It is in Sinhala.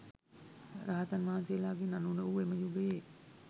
රහතන් වහන්සේලාගෙන් අනූන වූ එම යුගයේ